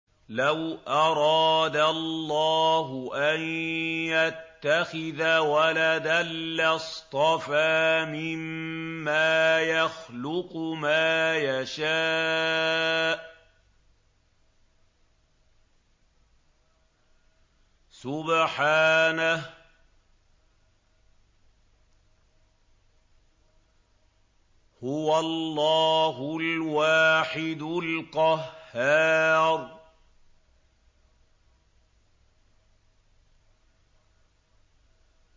لَّوْ أَرَادَ اللَّهُ أَن يَتَّخِذَ وَلَدًا لَّاصْطَفَىٰ مِمَّا يَخْلُقُ مَا يَشَاءُ ۚ سُبْحَانَهُ ۖ هُوَ اللَّهُ الْوَاحِدُ الْقَهَّارُ